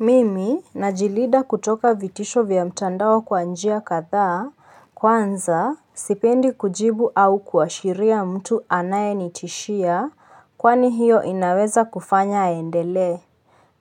Mimi najilida kutoka vitisho vya mtandao kwa njia kadhaa, kwanza sipendi kujibu au kuashiria mtu anayenitishia kwani hiyo inaweza kufanya aendelee.